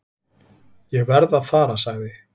"""Ég verð að fara, sagði"""